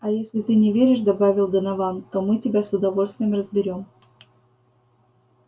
а если ты не веришь добавил донован то мы тебя с удовольствием разберём